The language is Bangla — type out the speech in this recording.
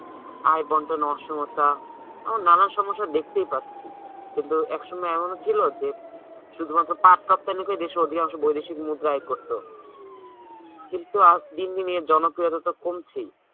আয় বন্টন অসমতা এখন নানান সমস্যা দেখতেই পাচ্ছি কিন্তু একসময় এমনও ছিল যে শুধুমাত্র পাট তক্তা নিয়ে দেশের অধিকাংশ বৈদেশিক মুদ্রা আয় করতো কিন্তু আ~ দি দিন এর জনপ্রিয়তা তো কমছেই